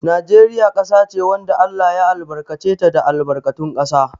Najeriya ƙasa ce wanda Allah ya albarkace ta da albarkatun ƙasa.